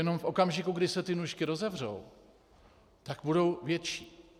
Jenom v okamžiku, kdy se ty nůžky rozevřou, tak budou větší.